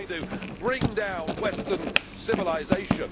we are going to bring down western civilisation.